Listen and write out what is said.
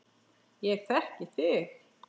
Ég þekki þig.